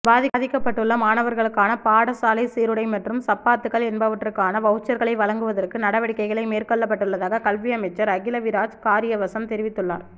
பாதிக்கப்பட்டுள்ள மாணவர்களுக்கான பாடசாலை சீருடை மற்றும் சப்பாத்துக்கள் என்பவற்றுக்கான வவுச்சர்களை வழங்குவதற்கு நடவடிக்கைகள் மேற்கொள்ளப்பட்டுள்ளதாக கல்வியமைச்சர் அகிலவிராஜ் காரியவசம் தெரிவித்துள்ளா